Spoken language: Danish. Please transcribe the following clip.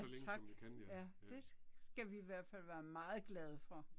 Ja tak, ja. Det skal vi i hvert fald være meget glade for